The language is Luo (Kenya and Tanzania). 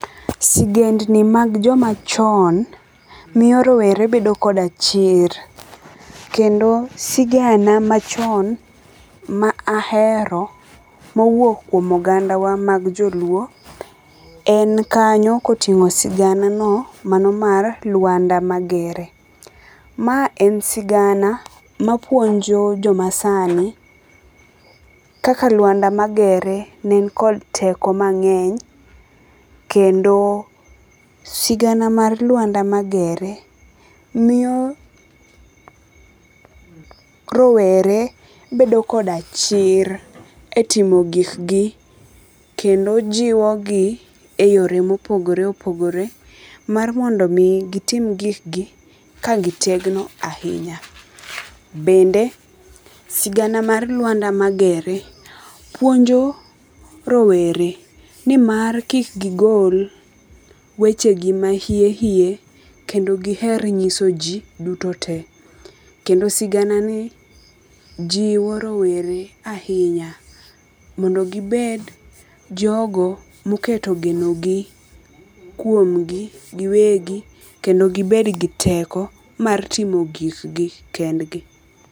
Sigendgi mag joma chon, miyo rowere bedo koda chir. Kendo, sigana machon ma ahero mowuok kuom oganda wa mag joluo en kanyo koting'o sigana no mano mar Lwanda Magere. Ma en sigana mapuonjo joma sani kaka Lwanda Magere ne en kod teko mang'eny. Kendo sigana mar Lwanda Magere miyo rowere bedo koda chir e timo gik gi kendo jiwo gi e yore mopogore opogore mar mondo mi gitim gikgi ka gitegno ahinya. Bende sigana mar Lwanda Magere puonjo rowere ni mar kik gigol weche gi mahie hie kendo giher nyiso ji duto te. Kendo sigana ni jiwo rowere ahinya mondo gibed jogo moketo geno gi kuom gi giwegi kendo gibed gi teko mar timo gikgi kendgi.